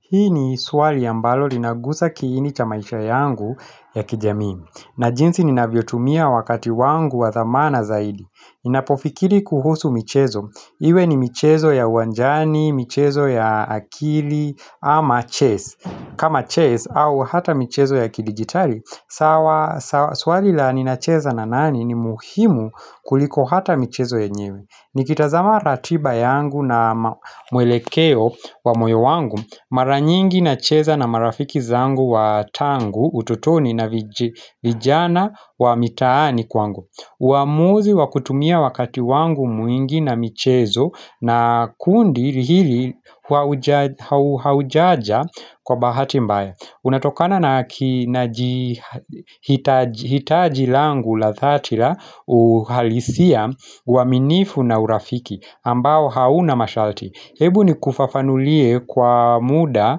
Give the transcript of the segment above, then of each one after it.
Hii ni suwali ya mbalo linagusa kiini chamaisha yangu ya kijami. Na jinsi nina vyotumia wakati wangu wa dhamana zaidi. Inapofikiri kuhusu michezo. Iwe ni michezo ya wanjani, michezo ya akili ama ches. Kama ches au hata michezo ya kidigitali, swali la nina cheza na nani ni muhimu kuliko hata michezo ye nyewe. Nikita zama ratiba yangu na mwelekeo wa moyo wangu Maranyingi na cheza na marafiki zangu wa tangu ututoni na vijana wa mitaani kwangu uamuzi wa kutumia wakati wangu mwingi na michezo na kundi hili haujaja kwa bahati mbaya Unatokana na hitajilangu ladhatila uhalisia waminifu na urafiki ambao hauna mashalti Hebu ni kufafanulie kwa muda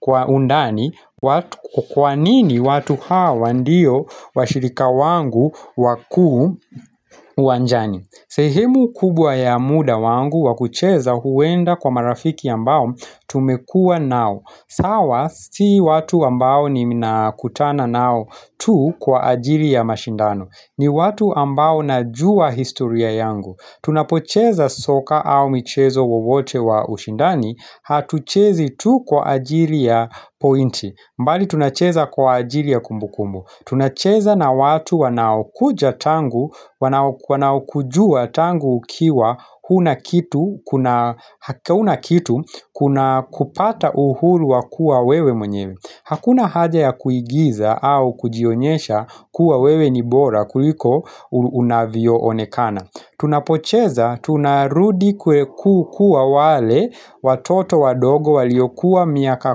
kwa undani kwa nini watu hawa ndio washirika wangu wakuu uwanjani sehemu kubwa ya muda wangu wakucheza huenda kwa marafiki ambao tumekua nao sawa si watu ambao ni minakutana nao tu kwa ajili ya mashindano ni watu ambao najua historia yangu Tunapocheza soka au michezo wovote wa ushindani Hatuchezi tu kwa ajili ya pointi mbali tunacheza kwa ajili ya kumbu kumbu Tunacheza na watu wanaokujua tangu ukiwa Huna kitu kuna kupata uhuru wakua wewe mwenyewe Hakuna haja ya kuigiza au kujionyesha kuwa wewe nibora kuliko unavyo onekana Tunapocheza, tunarudi kukua wale watoto wadogo waliokuwa miaka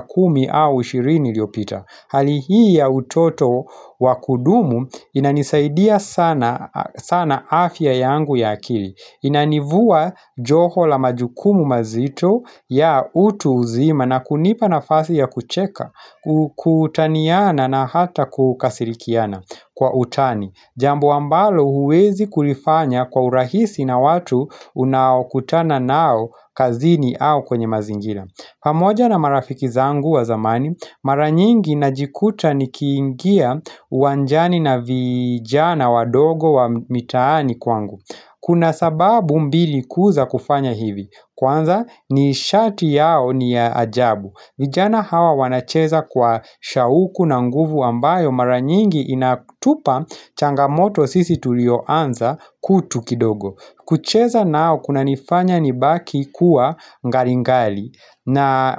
kumi au ishirini liopita Hali hii ya utoto wakudumu inanisaidia sana sana afya yangu ya akili Inanivua joho la majukumu mazito ya utu uzima na kunipa na fasi ya kucheka, kutaniyana na hata kukasilikiana kwa utani Jambo ambalo huwezi kulifanya kwa urahisi na watu unaukutana nao kazini au kwenye mazingira pamoja na marafiki zangu wa zamani, maranyingi najikuta ni kiingia wanjani na vijana wa dogo wa mitani kwangu Kuna sababu mbili kuuza kufanya hivi Kwanza ni shati yao ni ajabu vijana hawa wanacheza kwa shauku na nguvu ambayo maranyingi inatupa changamoto sisi tulioanza kutu kidogo kucheza nao kuna nifanya ni baki kuwa ngaringali na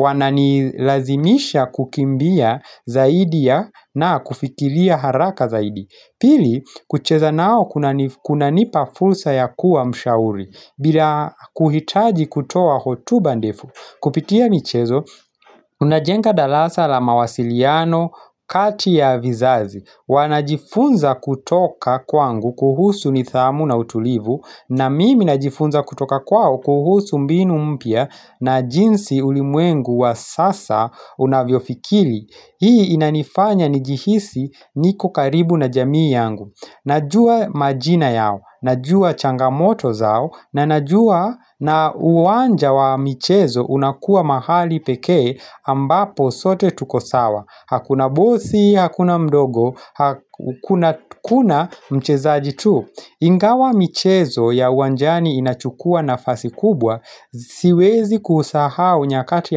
wananilazimisha kukimbia zaidi ya na kufikilia haraka zaidi Pili kucheza nao kuna nipa fulsa ya kuwa mshauri bila kuhitaji kutoa hotu ndefu kupitia michezo unajenga dalasa la mawasiliano kati ya vizazi wanajifunza kutoka kwangu kuhusu ni nidhamu na utulivu na mimi najifunza kutoka kwao kuhusu mbinu mpya na jinsi ulimwengu wa sasa unavyofikili Hii inanifanya nijihisi niko karibu na jamii yangu Najua majina yao, najua changamoto zao na najua na uwanja wa michezo unakua mahali pekee ambapo sote tukosawa Hakuna bosi, hakuna mdogo, hakuna mchezaji tu Ingawa michezo ya uwanjani inachukua nafasi kubwa Siwezi kuhusahau nyakati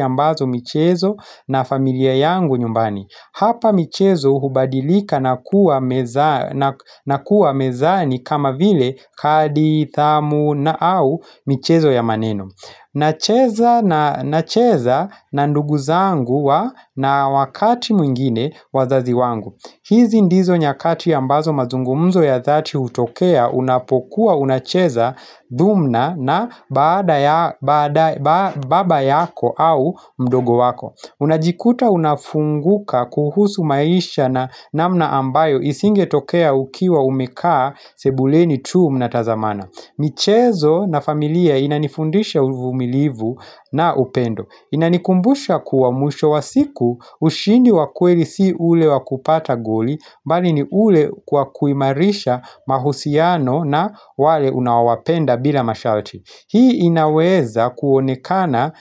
ambazo michezo na familia yangu nyumbani Hapa michezo hubadilika na kuwa mezani kama vile kadi, thamu na au michezo ya maneno nacheza na nduguzangu na wakati mwingine wazazi wangu hizi ndizo nyakati ambazo mazungumzo ya dhati utokea unapokuwa unacheza dhumna na baada baba yako au mdogo wako Unajikuta unafunguka kuhusu maisha na namna ambayo isinge tokea ukiwa umekaa sebuleni tuu mnatazamana michezo na familia inanifundisha uvumilivu na upendo Inanikumbusha kuwa mwisho wa siku ushindi wakweli si ule wakupata goli mbali ni ule kwa kuimarisha mahusiano na wale unawapenda bila mashalati Hii inaweza kuonekana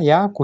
ya kushit.